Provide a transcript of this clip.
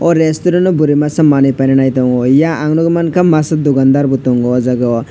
o restuarant o burui masa manui paina nai tongo yang ang nugui mangkha masa dukandar bo tongo o jaga o.